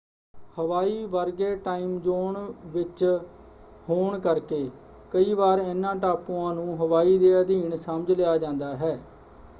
ਹਵਾਈ ਵਰਗੇ time zone ਵਿੱਚ ਹੋਣ ਕਰਕੇ ਕਈ ਵਾਰ ਇਹਨਾਂ ਟਾਪੂਆਂ ਨੂੰ ਹਵਾਈ ਦੇ ਅਧੀਨ” ਸਮਝ ਲਿਆ ਜਾਂਦਾ ਹੈ।